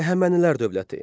Əhəmənilər dövləti.